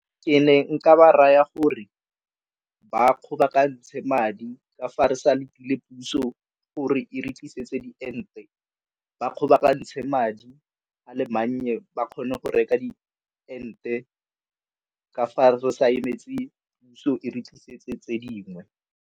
Ke ne nka ba raya gore ba kgobokantshe madi ka fa re sa lapile puso gore e re tlisetsa diente ba kgobokantshe madi a le mannye ba kgone go reka diente ka fa re sa emetse puso e re tlisetse tse dingwe.